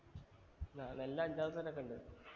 ആ നെല്ല് അഞ്ചാറ് തരൊക്കെ ഉണ്ട്